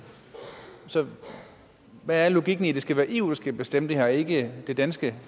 så hvad er logikken i at det skal være eu der skal bestemme det her og ikke det danske